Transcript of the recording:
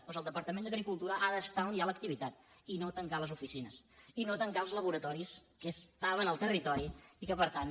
doncs el departament d’agricultura ha d’estar on hi a l’activitat i no tancar les oficines i no tancar els laboratoris que estaven al territori i que per tant